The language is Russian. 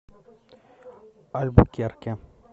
альбукерке